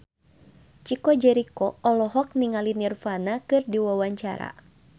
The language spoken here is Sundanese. Chico Jericho olohok ningali Nirvana keur diwawancara